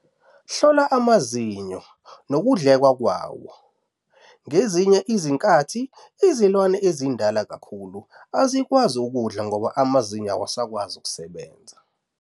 Hlola amazinyo nokudleka kwawo- ngezinye izikhathi izilwane ezindala kakhulu azikwazi ukudla ngoba amazinyo awasakwazi ukusebenza.